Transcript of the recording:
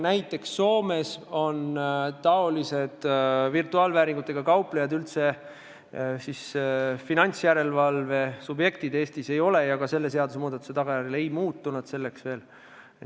Näiteks Soomes on virtuaalvääringuga kauplejad finantsjärelevalve subjektid, Eestis ei ole ja ka selle seadusmuudatuse tagajärjel nad selleks veel ei muutu.